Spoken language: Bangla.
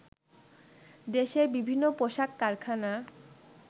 দেশের বিভিন্ন পোশাক কারখানা